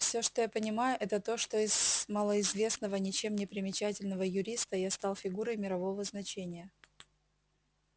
всё что я понимаю это то что из малоизвестного ничем не примечательного юриста я стал фигурой мирового значения